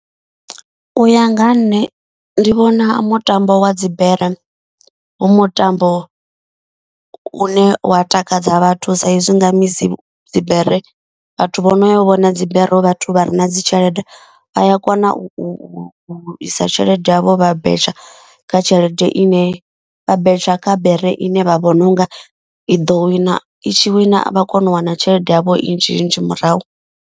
U ya nga ha nṋe ndi vhona mutambo wa dzibere hu mutambo u ne wa takadza vhathu. Saizwi nga misi dzibere vhathu vho no yo vhona dzibere hu vhathu vha re na dzi tshelede. Vha ya kona u isa tshelede yavho vha betsha kha tshelede ine vha betsha kha bere i ne vha vhona u nga i ḓo wina i tshi wina vha kona u wana tshelede yavho i nnzhi nnzhi murahu.